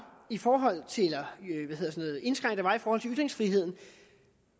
i forhold til ytringsfriheden